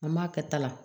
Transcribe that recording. An m'a kɛta la